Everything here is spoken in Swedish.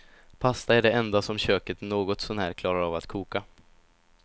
Pasta är det enda som köket något sånär klarar av att koka.